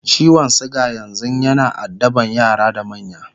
ciwon suga yanzun yana addaban yara da manya